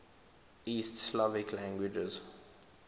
east slavic languages